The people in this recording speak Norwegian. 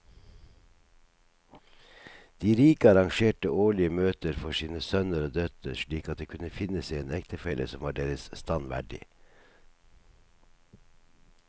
De rike arrangerte årlige møter for sine sønner og døtre slik at de kunne finne seg en ektefelle som var deres stand verdig.